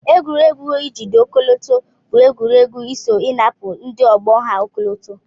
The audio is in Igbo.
Egwuregwu ijide ọkọlọto bu egwuregwu isọ inapụ ndi ogbo ha ọkọlọtọ.